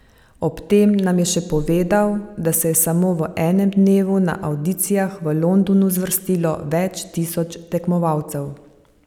Ob tem nam je še povedal, da se je samo v enem dnevu na avdicijah v Londonu zvrstilo več tisoč tekmovalcev.